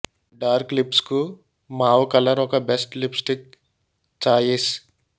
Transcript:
dark lips కు mauve colour ఒక best lipstick choice